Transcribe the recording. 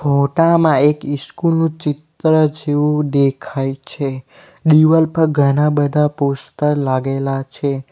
ફોટામાં એક ઇસ્કુલ નું ચિત્ર જેવું દેખાય છે દિવાલ પર ઘણા બધા પોસ્ટર લાગેલા છે.